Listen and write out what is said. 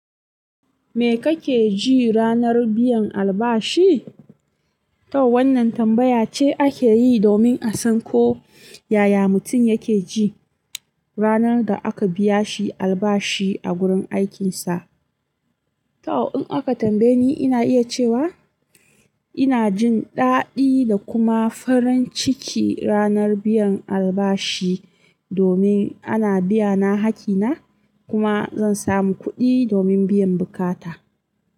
Me kake ji ranar biyan albashi? To wannan tambaya ce ake yi domin a san ko yaya mutum yake ji ranar da aka biya shi albashi a gurin aikinsa. To in aka tambaye ni, ina iya cewa ina jin ɗaɗi da kuma farin ciki ranar biyan albashi domin ana biya na hakki na kuma zan samu kuɗi domin biyan buƙata.